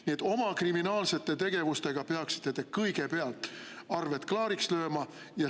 Nii et oma kriminaalsete tegevuste puhul peaksite te kõigepealt arved klaariks lööma.